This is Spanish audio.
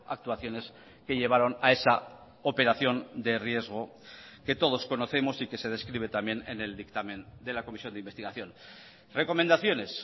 actuaciones que llevaron a esa operación de riesgo que todos conocemos y que se describe también en el dictamen de la comisión de investigación recomendaciones